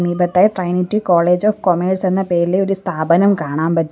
മീപത്തായി Trinity college of commerce എന്ന പേരിലുള്ള സ്ഥാപനം കാണാൻ പറ്റും.